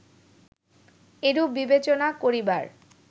এরূপ বিবেচনা করিবার